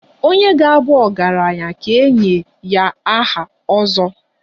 Onye ga-abu ọgaranya ka e nye ya aha 'ozo'.